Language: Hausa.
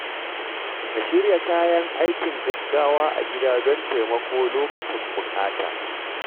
Ka shirya kayan aikin gaggawa a gida don taimako lokacin buƙata.